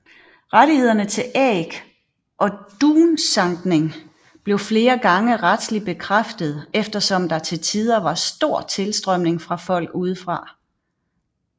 Rettighederne til æg og dunsankning blev flere gange retslig bekræftet eftersom der til tider var stor tilstrømning fra folk udefra